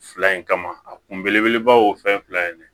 Fila in kama a kun belebelebaw o fɛn fila in ne